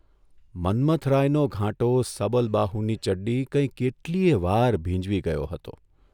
મન્મથરાયનો ઘાંટો સબલબાહુની ચડ્ડી કંઇ કેટલીવાર ભીંજવી ગયો હતો.